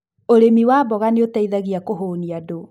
ũrĩmi wa mboga ni ũteithagia kũhũnia andũ